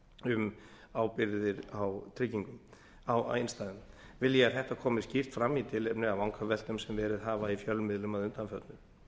um ábyrgðir á innstæðum vil ég að þetta komi skýrt fram í tilefni af vangaveltum sem verið hafa í fjölmiðlum að undanförnu